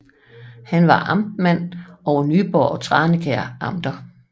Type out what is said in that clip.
Han var amtmand over Nyborg og Tranekær Amter